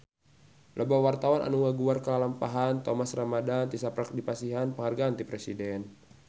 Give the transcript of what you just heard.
Loba wartawan anu ngaguar lalampahan Thomas Ramdhan tisaprak dipasihan panghargaan ti Presiden